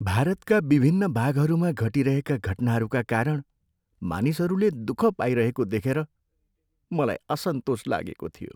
भारतका विभिन्न भागहरूमा घटिरहेका घटनाहरूका कारण मानिसहरूले दुःख पाइरहेको देखेकर मलाई असन्तोष लागेको थियो।